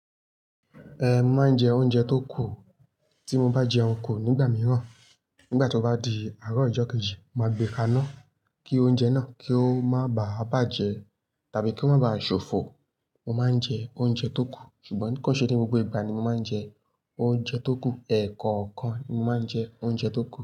Eh, máa ń jẹ oúnjẹ tó kù. Tí mo bá jẹun kò nígbà mìíràn, nígbà tí ó bá di àárọ̀ ọjọ́ kejì, màá gbé kaná kí oúnjẹ náà kí ó má bá à bàjẹ́ tàbí kí ó má ba à ṣòfò. Mo máa ń jẹ oúnjẹ tó kù, ṣùgbọ́n ni kò o ṣe pé gbogbo ìgbà ni mo máa ń jẹ oúnjẹ tó kù. Ẹ̀ẹ̀kọ̀kan ni mo máa ń jẹ oúnjẹ tó kù.